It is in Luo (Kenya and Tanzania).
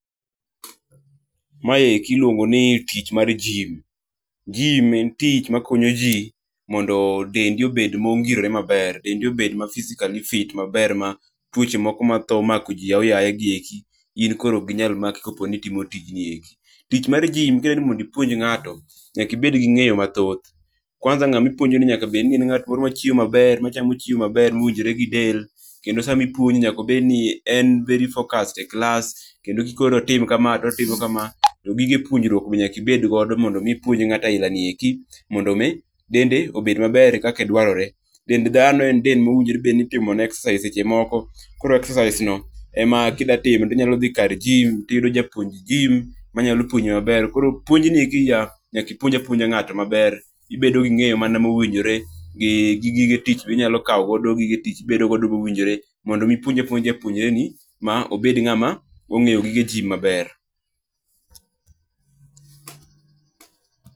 Maeki iluongo ni tich mar gym. Gym en tich makonyo jii mondo dendi obed mongirore maber, dendi obed ma physically fit maber ma twoche moko mathoo mako jii aoaye gieki, in koro okginyal maki koponi timo tijni eki. Tich mar gym kidwani mondi puonj ng'ato, nyaki bed gi ng'eyo mathoth. Kwanza ng'a mipuonjoni nyaka bed ni en ng'at moro machiemo maber machamo chiemo maber mowinjre gi del, kendo sami puonje nyakobed ni en very focused e klas, kendo kikone notim kama totimo kama to gige puonjrwuok be nyaka ibedgo mondo mii ipuonj ng'ato ailani eki mondo mii dende obed maber kake dwarore. Dend dhano en dend mowinjore bed ni itimone excercise seche moko, koro exercise no ema kidatimo tinyalo dhi kar gym tiyudo japuonj gym manyalo puonji maber. Koro puonjni eki nyaki puonj apuonja ng'ato maber. Ibedo gi ng'eyo mana mowinjore gi gi gige tich be inyalo kaogodo gige tich ibedo godo mowinjore mondo mii ipuonja puonja japuonjreni ma obed ng'ama ong'eyo gige gym maber.